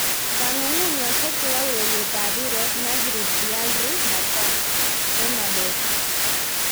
Kongungunyoshek chepo ureret ap piret :Nasri, Baillry, mataHernadez